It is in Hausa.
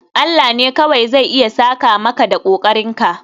Allah ne kawai zai iya saka maka da kokarinka